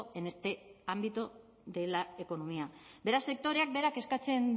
en este ámbito de la economía beraz sektoreak berak eskatzen